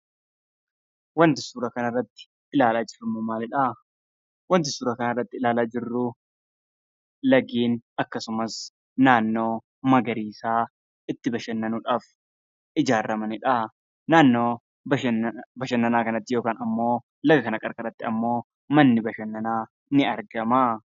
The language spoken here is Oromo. Waanti suura kana irratti ilaalaa jirru maalidhaa? Waanti suuraa kana irratti ilaalaa jirruu lageen akkasumas naannoo magariisaa itti bashannanuudhaaf ijaarramanidhaa. Naannoo bashannanaa kanatti yookaan immoo laga kana qarqaratti ammoo manni bashannanaa ni argamaa